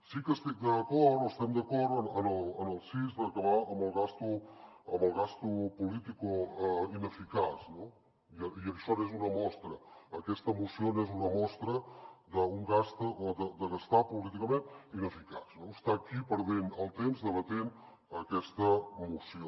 sí que estic d’acord o estem d’acord amb el sis d’acabar amb la despesa política ineficaç no i això n’és una mostra aquesta moció n’és una mostra d’una despesa política i ineficaç estar aquí perdent el temps debatent aquesta moció